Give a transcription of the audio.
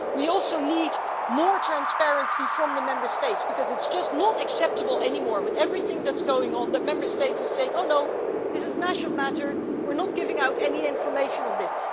We also need more transparency from the Member States because it's just not acceptable anymore, with everything that's going on, that Member States are saying oh no, this is a national matter, we're not giving out any information on this'.